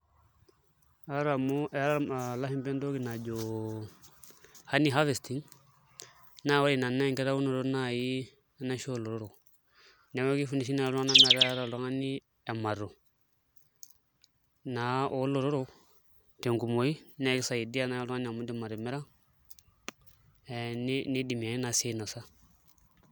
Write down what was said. Aata amu eeta ee ilashumba entoki najo honey harvesting naa ore ina naa enkitaunoto naai enaisho oolotorrok, neeku kifundishai naai iltung'anka metaa keeta oltung'ani emato naa oolotorok tenkumoi naa kisaidia naai oltung'ani amu iindim atimira nidimi ake naai sii ainasa.